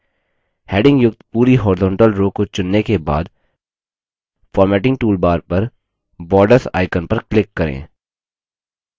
headings युक्त पूरी horizontal row को चुनने के बाद formatting toolbar पर borders icon पर click करें